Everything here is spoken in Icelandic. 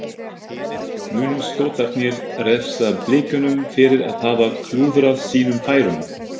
Munu Skotarnir refsa Blikunum fyrir að hafa klúðrað sínum færum?